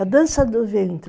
A dança do ventre.